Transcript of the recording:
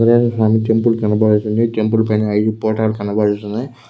ఇక్కడ మనకి టెంపుల్ కనబడుతుంది. టెంపుల్ పైన ఐదు ఫోటో లు కనబడుతున్నాయ్.